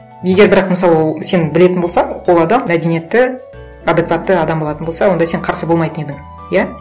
егер бірақ мысалы ол сен білетін болсаң ол адам мәдениетті адекватты адам болатын болса онда сен қарсы болмайтын едің иә